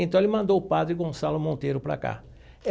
Então ele mandou o padre Gonçalo Monteiro para cá.